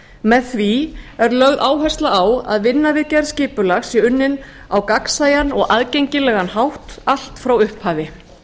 með því er lögð áhersla á að vinna við gerð skipulags sé unnin á gagnsæjan og aðgengilegan hátt allt frá upphafi